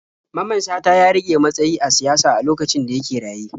Mamman Shata ya riƙe matsayi a siyasa a lokacin da yake raye.